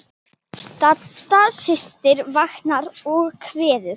Dadda systir saknar og kveður.